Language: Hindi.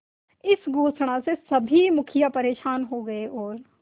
इस घोषणा से सभी मुखिया परेशान हो गए और